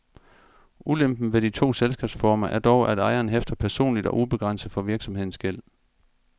Ulempen ved de to selskabsformer er dog, at ejeren hæfter personligt og ubegrænset for virksomhedens gæld.